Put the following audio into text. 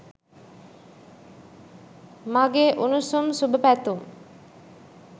මගේ උණුසුම් සුබ පැතුම්